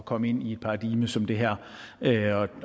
komme ind i et paradigme som det her